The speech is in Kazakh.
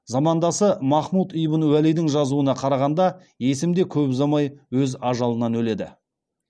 замандасы махмуд ибн уәлидің жазуына қарағанда есім де көп ұзамай өз ажалынан өледі